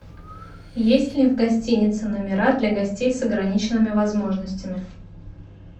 есть ли в гостинице номера для гостей с ограниченными возможностями